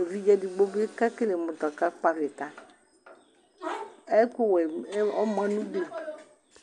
evidze digbobi kɛkele mʋ ta kakpo avita ɛkʋwɛ ɔmanʋdʋ